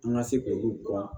An ka se k'olu dɔn